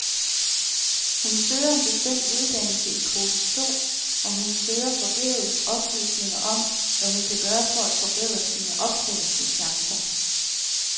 Hun søger en bestemt uddannelse i kvote to, og hun søger forgæves oplysninger om, hvad hun kan gøre for at forbedre sine optagelseschancer.